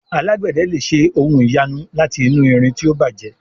Alágbède lẹ ṣe ohùn ìyanu láti inú ìrìn tí o bàjé